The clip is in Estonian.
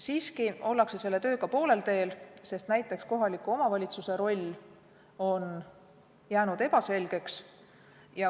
Siiski ollakse selle tööga poolel teel, sest näiteks kohaliku omavalitsuse roll on jäänud ebaselgeks.